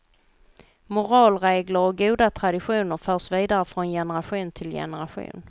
Moralregler och goda traditioner förs vidare från generation till generation.